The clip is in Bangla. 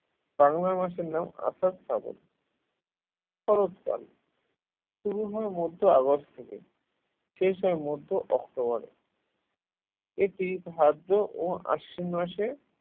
বাংলা মাসের নাম আষাঢ় শ্রাবণ শরৎকাল শুরু হয় মধ্য অগাস্ট থেকে শেষ হয় মধ্য অক্টোবর এ এটি ভাদ্র ও আশ্বিন মাসে